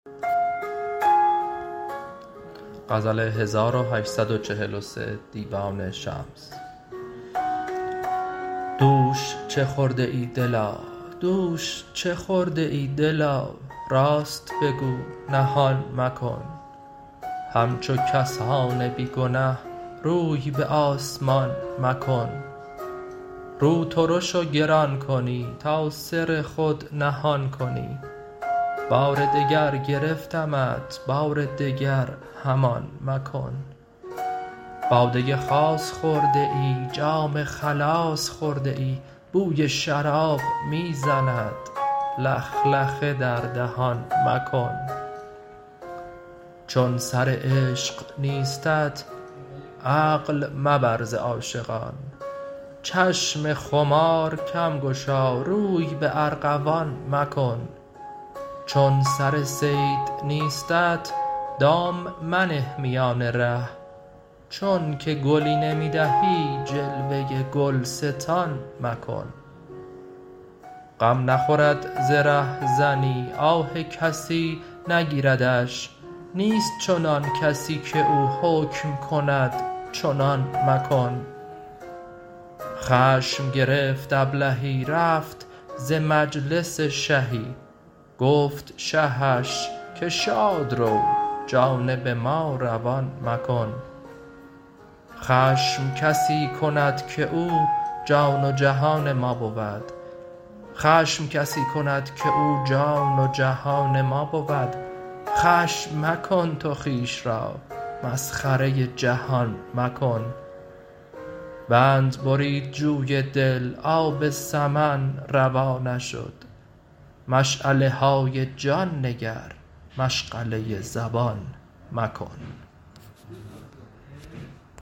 دوش چه خورده ای دلا راست بگو نهان مکن همچو کسان بی گنه روی به آسمان مکن رو ترش و گران کنی تا سر خود نهان کنی بار دگر گرفتمت بار دگر همان مکن باده خاص خورده ای جام خلاص خورده ای بوی شراب می زند لخلخه در دهان مکن چون سر عشق نیستت عقل مبر ز عاشقان چشم خمار کم گشا روی به ارغوان مکن چون سر صید نیستت دام منه میان ره چونک گلی نمی دهی جلوه گلستان مکن غم نخورد ز رهزنی آه کسی نگیردش نیست چنان کسی کی او حکم کند چنان مکن خشم گرفت ابلهی رفت ز مجلس شهی گفت شهش که شاد رو جانب ما روان مکن خشم کسی کند کی او جان و جهان ما بود خشم مکن تو خویش را مسخره جهان مکن بند برید جوی دل آب سمن روا نشد مشعله های جان نگر مشغله زبان مکن